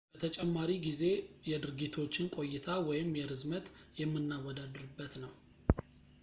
በተጨማሪ ጊዜ የድርጊቶችን ቆይታ የርዝመት የምናወዳድርበት ነው